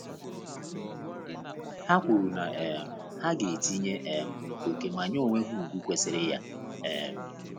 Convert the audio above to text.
Ha kwuru na um ha ga etinye um ókè ma nye onwe ha ugwu kwesịrị ya um